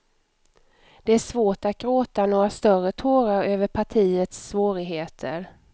Det är svårt att gråta några större tårar över partiets svårigheter.